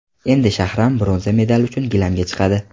Endi Shahram bronza medal uchun gilamga chiqadi.